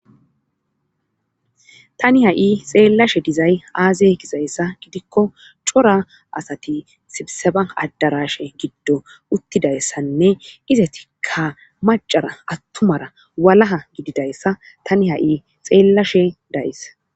tani ha7i xeellashe dizay aaze gizayssa gidikko cora asati sibseba adarashe giddo uttidayssanne ize tikka macara attumara walaha gididayssa tani ha7i xeellashe dayis